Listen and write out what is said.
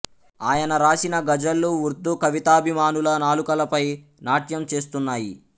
ఆయన రాసిన గజళ్ళు ఉర్దూ కవితాభిమానుల నాలుకలపై నాట్యం చేస్తున్నాయి